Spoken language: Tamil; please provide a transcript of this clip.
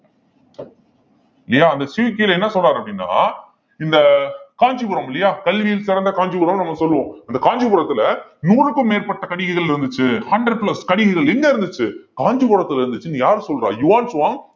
இல்லையா அந்த சியூக்கில என்ன சொல்றாரு அப்படின்னா இந்த காஞ்சிபுரம் இல்லையா கல்வியில் சிறந்த காஞ்சிபுரம்னு நம்ம சொல்லுவோம் இந்த காஞ்சிபுரத்துல நூறுக்கும் மேற்பட்ட கடிகைகள் இருந்துச்சு hundred plus கடிகைகள் எங்க இருந்துச்சு காஞ்சிபுரத்துல இருந்துச்சுன்னு யாரு சொல்றா யுவான் சுவாங்